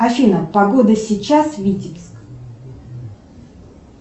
афина погода сейчас витебск